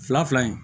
Fila fila fila in